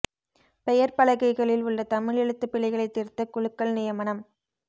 பெயர் பலகைகளில் உள்ள தமிழ் எழுத்துப் பிழைகளை திருத்த குழுக்கள் நியமனம்